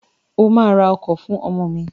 O ma ra ọkọ̀ fún ọmọ mi!